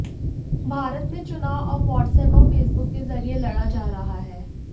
भारत में चुनाव अब व्हाट्एप और फेसबुक के जरिए लडा जा रहा है